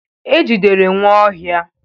E jidere Nwaohia.